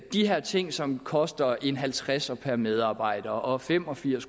de her ting som koster en halvtredser per medarbejder og fem og firs